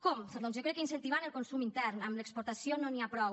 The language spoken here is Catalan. com doncs jo crec que incentivant el consum intern amb l’exportació no n’hi ha prou